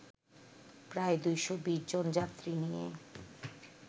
প্রায় ২২০ জন যাত্রী নিয়ে